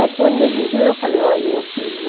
Aí quando ele viu, eu falei, olha, eu fiz o...